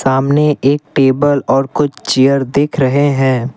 सामने एक टेबल और कुछ चेयर देख रहे हैं।